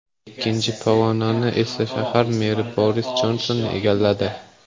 Ikkinchi pog‘onani esa shahar meri Boris Jonson egalladi.